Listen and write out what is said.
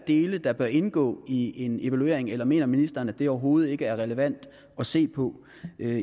dele der bør indgå i en evaluering eller mener ministeren at det overhovedet ikke er relevant at se på